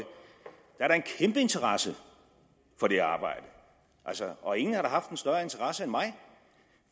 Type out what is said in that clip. kæmpe interesse for det arbejde og ingen har haft en større interesse end mig